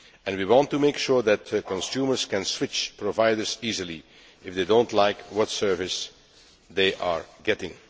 We also want to make sure that consumers can switch providers easily, if they do not like the service they are getting.